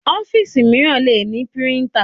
Ọ́fíìsì mìíràn le ní píríńtà.